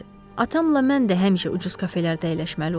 Atamla mən də həmişə ucuz kafelərdə əyləşməli olurduq.